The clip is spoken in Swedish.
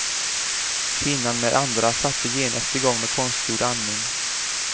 Kvinnan och andra satte genast igång med konstgjord andning.